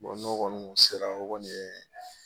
n'o kɔni kun sera o kɔni ye